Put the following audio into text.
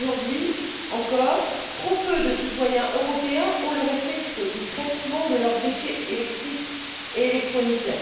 Aujourd'hui, encore, trop peu de citoyens européens ont le réflexe du traitement de leurs déchets électriques et électroniques.